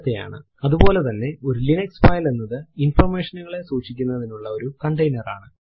അതുപോലെ തന്നെ ഒരു ലിനക്സ് ഫൈൽ എന്നത് ഇൻഫർമേഷൻ നുകളെ സൂക്ഷിക്കുന്നതിനുള്ള ഒരു കണ്ടെയ്നർ ആണ്